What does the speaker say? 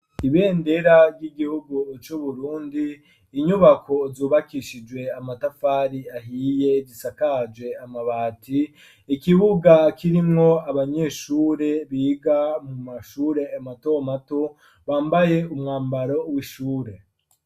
Ibendera ry'igihugu c'uburundi inyubako zubakishijwe amatafari ahiye gisakaje amabati ikibuga kirimwo abanyeshure biga mu mashure mato mato bambaye umwambaro w'ishure.